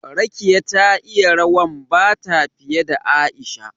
Rekiya ta iya rawan Bata fiye da Aisha